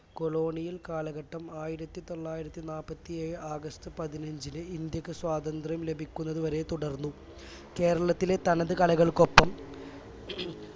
colonial കാലഘട്ടം ആയിരത്തിതൊള്ളായിരത്തിനാപത്തിഏഴ് August പതിനഞ്ചിൽ ഇന്ത്യക്ക് സ്വാതന്ത്ര്യം ലഭിക്കുന്നത് വരെ തുടർന്നു കേരളത്തിലെ തനത് കലകൾക്കൊപ്പം